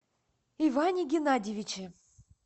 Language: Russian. иване геннадьевиче